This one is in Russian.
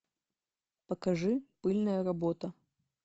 покажи пыльная работа